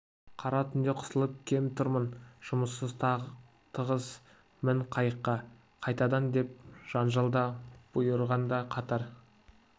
қара түнде қысылып кеп тұрмын жұмысымыз тығыз мін қайыққа қайтадан деп жанжалын да бұйрығын да қатар